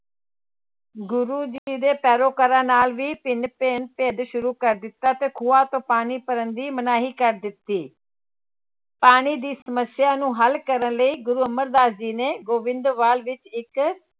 ਗੁਰੂ ਜੀ ਦੇ ਪੈਰੋਕਾਰਾਂ ਨਾਲ ਵੀ ਭਿੰਨ ਭਿੰਨ ਭੇਦ ਸ਼ੁਰੂ ਕਰ ਦਿੱਤਾ ਤੇ ਖੂਹਾਂ ਤੋਂ ਪਾਣੀ ਭਰਨ ਦੀ ਮਨਾਹੀ ਕਰ ਦਿੱਤੀ ਪਾਣੀ ਦੀ ਸਮੱਸਿਆ ਨੂੰ ਹੱਲ ਕਰਨ ਲਈ ਗੁਰੂ ਅਮਰਦਾਸ ਜੀ ਨੇ ਗੋਬਿੰਦਵਾਲ ਵਿੱਚ ਇੱਕ